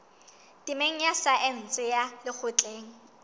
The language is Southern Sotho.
temeng ya saense ya lekgotleng